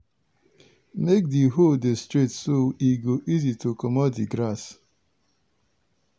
make di hole dey straight so e go easy to comot di grass.